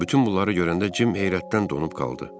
Bütün bunları görəndə Jim heyrətdən donub qaldı.